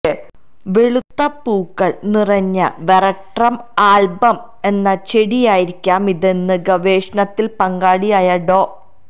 വെളുത്ത പൂക്കൾ നിറഞ്ഞ വെറട്രം ആൽബം എന്ന ചെടിയായിരിക്കാം ഇതെന്ന് ഗവേഷണത്തിൽ പങ്കാളിയായ ഡോ